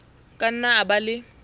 ka nna a ba le